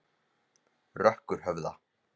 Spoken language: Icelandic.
Rökkurhöfða